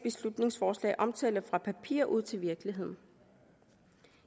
forslag omtaler fra papiret til virkeligheden